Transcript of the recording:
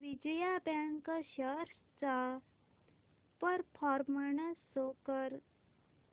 Vijaya bank shares चा performance show कर